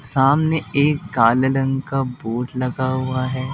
सामने एक काल रंग का बोर्ड लगा हुआ है।